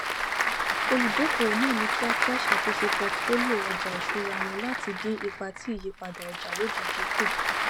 olùdókòwò náà ni kíákíá ṣàtúnṣe portfolio ọjà iṣúra wọn láti dín ipa tí ìyípadà ọjà lojijì kù